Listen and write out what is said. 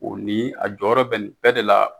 o ni a jɔyɔrɔ bɛ ni bɛɛ de la